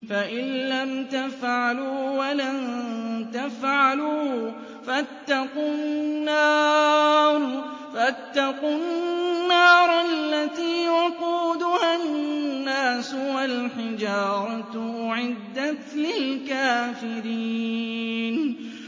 فَإِن لَّمْ تَفْعَلُوا وَلَن تَفْعَلُوا فَاتَّقُوا النَّارَ الَّتِي وَقُودُهَا النَّاسُ وَالْحِجَارَةُ ۖ أُعِدَّتْ لِلْكَافِرِينَ